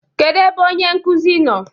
Kedu ebe onye nkuzi nọ?